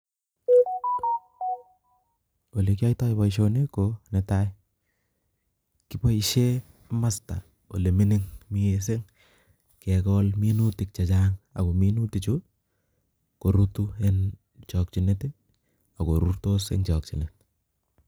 Olee kii aito Boisioni ko nee tai kii Boise imasta olee mining mising kekol minutik che Chang ako minutik chuu korutu eng chakchinet ak korutu ak korurtos eng chakchinet